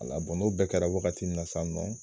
A la n'o bɛɛ kɛra wagati mun na sa nɔ